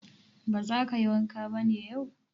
Ba za ka yi wanka ba ne yau?